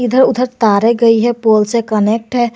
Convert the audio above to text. इधर उधर तारे गई है पोल से कनेक्ट है।